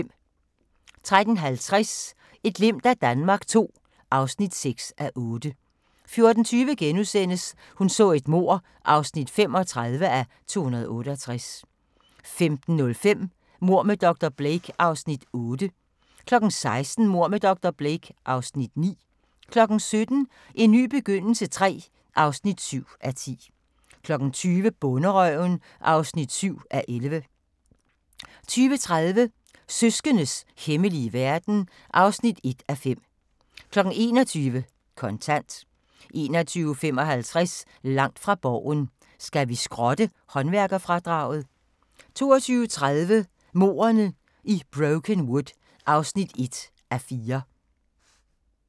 13:50: Et glimt af Danmark II (6:8) 14:20: Hun så et mord (35:268)* 15:05: Mord med dr. Blake (Afs. 8) 16:00: Mord med dr. Blake (Afs. 9) 17:00: En ny begyndelse III (7:10) 20:00: Bonderøven (7:11) 20:30: Søskendes hemmelige verden (1:5) 21:00: Kontant 21:55: Langt fra Borgen: Skal vi skrotte håndværkerfradraget? 22:30: Mordene i Brokenwood (1:4)